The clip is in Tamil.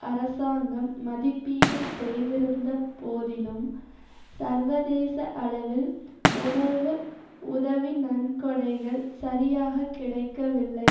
அரசாங்கம் மதிப்பீடு செய்திருந்தபோதிலும் சர்வதேச அளவில் உணவு உதவி நன்கொடைகள் சரியாக கிடைக்கவில்லை